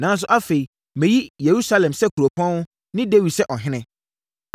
Nanso, afei, mayi Yerusalem sɛ kuropɔn, ne Dawid sɛ ɔhene.’ ”